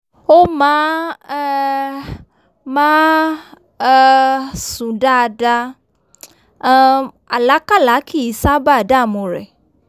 ó máa um máa um n sùn dáadáa um àlákálá kìí ṣábà dààmú rẹ̀